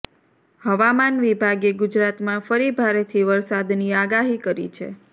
હવામાન વિભાગે ગુજરાતમાં ફરી ભારેથી વરસાદની આગાહી કરી છે